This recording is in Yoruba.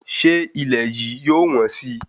Ṣé ilẹ̀ yìí yóò wọ́n sì?